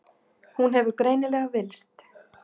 Hún hefur greinilega villst.